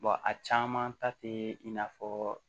a caman ta tɛ i n'a fɔ